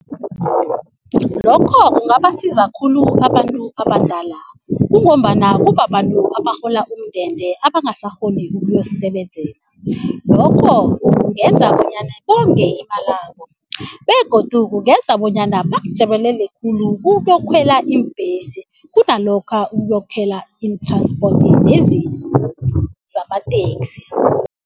Lokho kungabasiza khulu abantu abadala kungombana kubabantu abarhola umndende abangasakghoni ukuyozisebenzela. Lokho kungenza bonyana bonge imalabo begodu kungenza bonyana bakujabulele khulu uyokukhwela ibhesi kunalokha ukuyokukhwela i-transport lezi zamateksi.